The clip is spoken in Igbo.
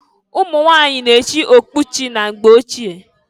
Umunwanyị na echị okpechi mgbe ochie.